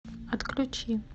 отключи